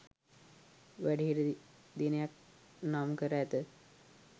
වැඩිහිටි දිනයක් නම් කර ඇත.